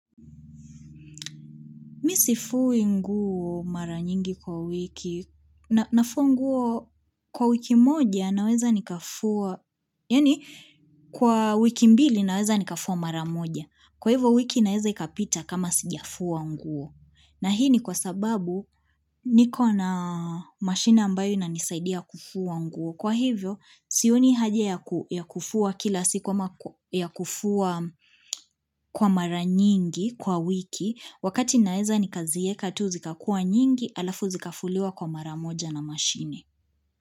Mimi sifui nguo mara nyingi kwa wiki, nafua nguo kwa wiki moja naweza nikafua, yani kwa wiki mbili naweza nikafua mara moja. Kwa hivyo wiki inaweza ikapita kama sijafua nguo. Na hii ni kwa sababu niko na mashine ambayo inanisaidia kufua nguo. Kwa hivyo, sioni haja ya kufuwa kila siku ama kufua kwa mara nyingi kwa wiki, wakati naeza nikazieka tu zikakua nyingi alafu zikafuliwa kwa mara moja na mashine.